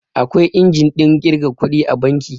Akwai injin ɗin ƙirga kuɗi a banki